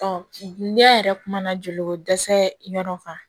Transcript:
ne yɛrɛ kumana joli ko dɛsɛ yɔrɔ kan